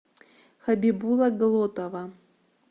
хабибула глотова